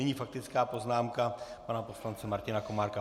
Nyní faktická poznámka pana poslance Martina Komárka.